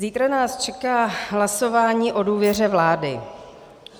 Zítra nás čeká hlasování o důvěře vládě.